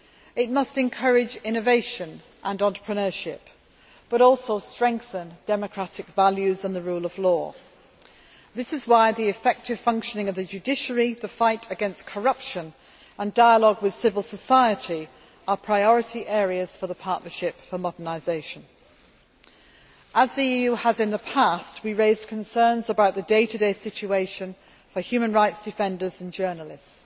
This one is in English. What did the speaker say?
It must encourage innovation and entrepreneurship, but also strengthen democratic values and the rule of law. This is why the effective functioning of the judiciary, the fight against corruption and dialogue with civil society are priority areas for the Partnership for Modernisation. As the EU has in the past, we raised concerns about the day to day situation for human rights defenders and journalists.